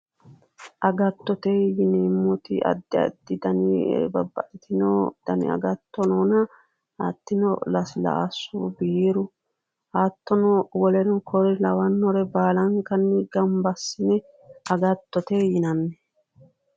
Agattote yineemmoti addi addi dani babbaxxitino dani agatto noona hattino laslaasu biiru hattono woleno kore lawannore gamba assine agattote yinanni.